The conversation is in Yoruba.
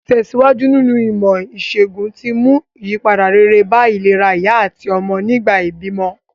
Ìtèsíwájú nínu ìmò ìsègùn ti mú ìyípadà rere bá ìlera ìyá àtí ọmọ nìgbà ìbímọ